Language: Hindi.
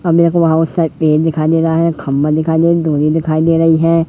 हमें एक पेड़ दिखाई दे रहा है खम्मा दिखाई दे डोरी दिखाई दे रही है--